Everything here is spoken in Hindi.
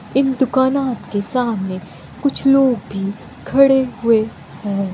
इन दुकाना आप के सामने कुछ लोग भी खड़े हुए है।